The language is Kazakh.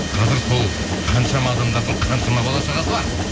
қазір сол қаншама адамдардың қаншама бала шағасы бар